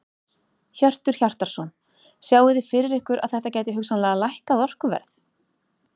Hjörtur Hjartarson: Sjáið þið fyrir ykkur að þetta gæti hugsanlega lækkað orkuverð?